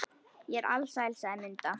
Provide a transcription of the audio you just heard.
Ég er alsæl, sagði Munda.